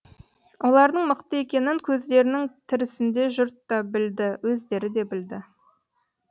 олардың мықты екенін көздерінің тірісінде жұрт та білді өздері де білді